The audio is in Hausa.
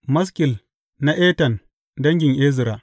Maskil na Etan dangin Ezra.